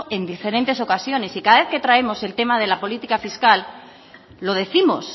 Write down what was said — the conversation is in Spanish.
en diferentes ocasiones y cada vez que traemos el tema de la política fiscal lo décimos